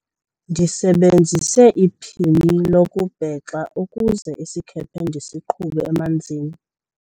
ndisebenzise iphini lokubhexa ukuze isikhephe ndisiqhube emanzini